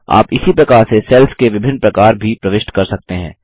आप इसी प्रकार से सेल्स के विभिन्न प्रकार भी प्रविष्ट कर सकते हैं